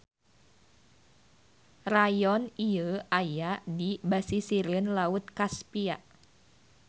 Rayon ieu aya di basisireun Laut Kaspia.